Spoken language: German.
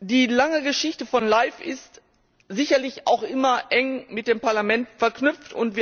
Die lange Geschichte von LIFE ist sicherlich auch immer eng mit dem Parlament verknüpft.